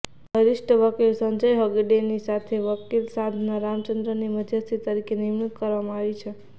વરિષ્ઠ વકીલ સંજય હેગડેની સાથે વકીલ સાધના રામચંદ્રનની મધ્યસ્થી તરીકે નિમણૂક કરવામાં આવી છે